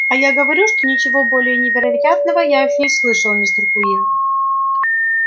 а я говорю что ничего более невероятного я ещё не слышал мистер куинн